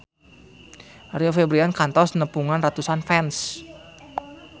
Rio Febrian kantos nepungan ratusan fans